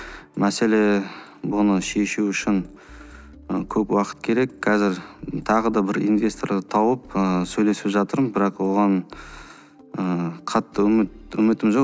мәселе бұны шешу үшін ы көп уақыт керек қазір тағы да бір инвесторды тауып ыыы сөйлесіп жатырмын бірақ оған ыыы қатты үмітім жоқ